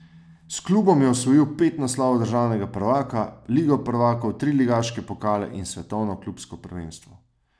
S klubom je osvojil pet naslovov državnega prvaka, ligo prvakov, tri ligaške pokale in svetovno klubsko prvenstvo.